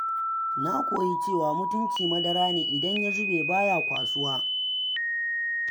Na koyi cewa mutunci madara ne idan ya zube baya kwasuwa.